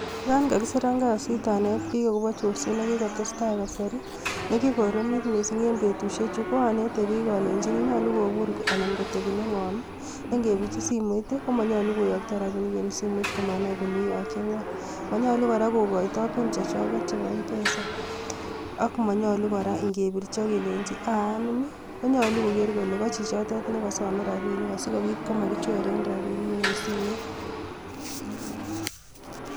Yon kakisiran kasiit anetbik akobo corset nekikotestai, kasari. Nekikoromit missing en betusiechu, ko anete bik alenyini nyolu kobur kitebi nengoom. Nengebirchii simoit, komonyolu koyoktoo rabinik en simoit komanai kole itokyechin ngoo. Monyolu kora kokoitooi pin chechwak, chebo mpesa, ak monyolu kora ingebirchi akelenyi aa anum, konyolu konai kole kochichotet nekosome rabinik simakichoren rabinik en simet.